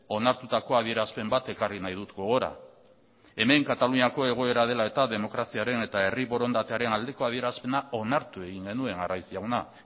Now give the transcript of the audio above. onartutako adierazpen bat ekarri nahi dut gogora hemen kataluniako egoera dela eta demokraziaren eta herri borondatearen aldeko adierazpena onartu egin genuen arraiz jauna